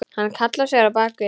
Hann hallaði sér á bakið.